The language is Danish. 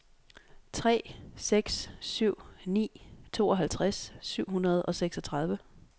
tre seks syv ni tooghalvtreds syv hundrede og seksogtredive